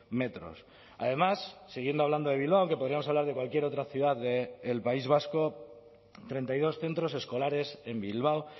metros además siguiendo hablando de bilbao que podríamos hablar de cualquier otra ciudad del país vasco treinta y dos centros escolares en bilbao